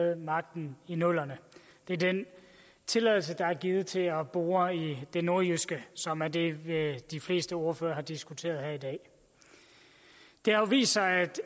havde magten i nullerne det er den tilladelse der er givet til at bore i det nordjyske som er det de fleste ordførere har diskuteret her i dag det har jo vist sig at